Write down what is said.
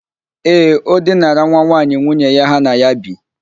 Ee, o dinara nwa nwaanyị nwunye ya ha na ya bi.